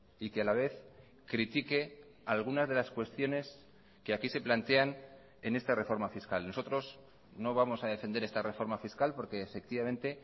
y que a la vez critique algunas de las cuestiones que aquí se plantean en esta reforma fiscal nosotros no vamos a defender esta reforma fiscal porque efectivamente